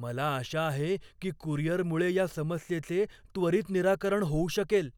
मला आशा आहे की कुरिअरमुळे या समस्येचे त्वरित निराकरण होऊ शकेल.